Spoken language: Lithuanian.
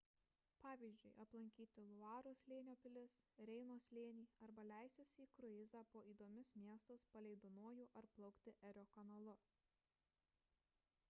pavyzdžiui aplankyti luaros slėnio pilis reino slėnį arba leistis į kruizą po įdomius miestus palei dunojų ar plaukti erio kanalu